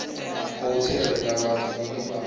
khou tsireledzwa vhathu vhane vha